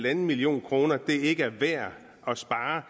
en million kroner ikke er værd at spare